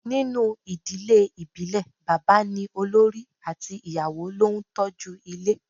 Ninu idile ibile baba ni olori ati iyawo lo n toju ile